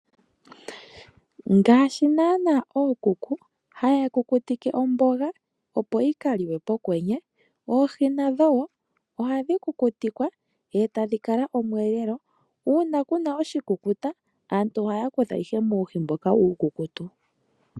Ngaashi nanaa ookuku haya kukutike omboga opo yi kaliwe pokwenye oohi nadho woo ohadhi kukutikwa etadhi ningi omweelelo uuna kuna oshikukuta aantu ohaya kutha ihe muuhi mboka uukukutu.